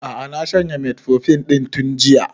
A'a na shanye metformin ɗin tun jiya